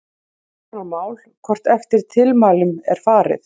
Hitt er annað mál hvort eftir tilmælunum er farið.